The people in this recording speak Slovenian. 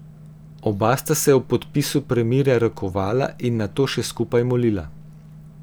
Oba sta se ob podpisu premirja rokovala in nato še skupaj molila.